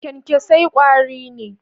kyankyasai kwari ne.